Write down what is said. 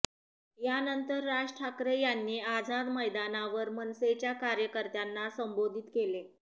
यानंतर राज ठाकरे यांनी आझाद मैदानावर मनसेच्या कार्यकर्त्यांना संबोधित केले